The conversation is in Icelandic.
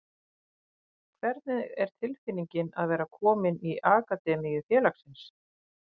Hvernig er tilfinningin að vera kominn í akademíu félagsins?